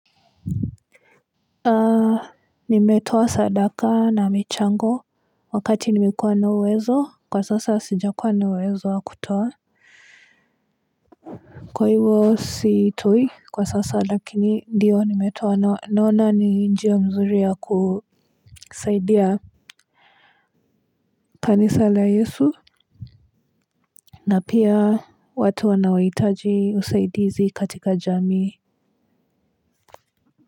Nimetoa sadaka na michango wakati nimekuwa na uwezo kwa sasa sija kuwa na uwezo wa kutoa kwa hivyo sitoi kwa sasa lakini ndio nimetoa naona ni njia mzuri ya kusaidia kanisa la yesu na pia watu wanaoitaji usaidizi katika jami.